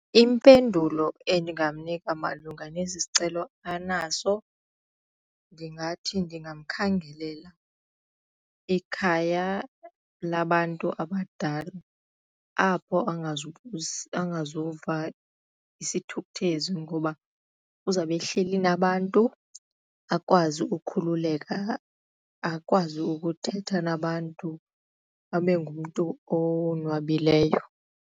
Impendulo endingamnika malunga nesi sicelo anaso ndingathi ndingamkhangelela ikhaya labantu abadala apho angazuva sithukuthezi ngoba uzawube ehleli nabantu akwazi ukukhululeka akwazi ukuthetha nabantu abengumntu owonwabileyo.